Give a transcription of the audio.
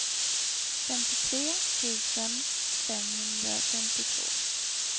femtiotre tusen femhundrafemtiotvå